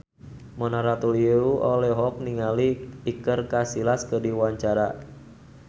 Mona Ratuliu olohok ningali Iker Casillas keur diwawancara